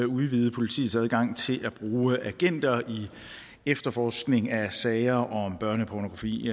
udvide politiets adgang til at bruge agenter i efterforskning af sager om børnepornografi